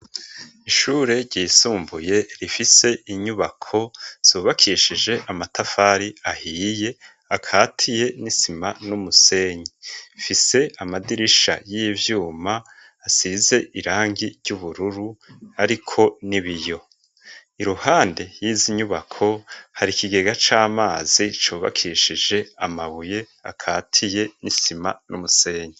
Ishure ryisumbuye rifise inyubako subakishije amatafari ahiye akatiye n'isima n'umusenyi fise amadirisha y'ivyuma asize irangi ry'ubururu, ariko ni biyo i ruhande yiza inyubako hario ikigega c'amazi cobakishije amabuye akatiye n'isima n'umusenge.